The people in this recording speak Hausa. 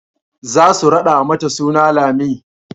za su raɗa mata suna Lami